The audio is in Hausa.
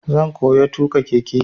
Zan koya tuƙa keke.